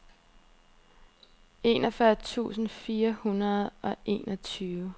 enogfyrre tusind fire hundrede og enogtyve